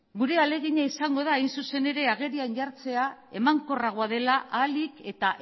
gure ahalegina izango da hain zuzen ere agerian jartzea emankorragoa dela ahalik eta